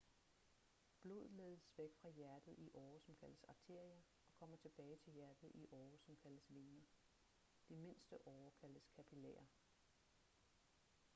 blod ledes væk fra hjertet i årer som kaldes arterier og kommer tilbage til hjertet i årer som kaldes vener de mindste årer kaldes kapillærer